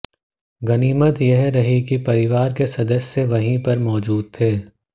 गनीमत यह रही कि परिवार के सदस्य वहीं पर मौजूद थे